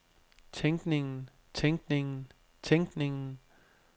tænkningen tænkningen tænkningen